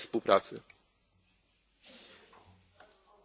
Monsieur le Président, ma réponse sera extrêmement brève.